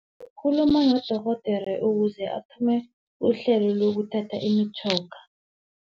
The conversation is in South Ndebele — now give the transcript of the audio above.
Khuluma nodorhodera ukuze athome uhlelo lokuthatha imitjhoga.